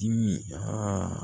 Dimi